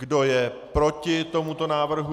Kdo je proti tomuto návrhu?